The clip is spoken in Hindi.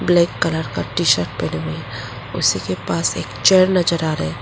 ब्लैक कलर का टीशर्ट पहने हुए हैं उसी के पास एक चेयर नजर आ रहा है।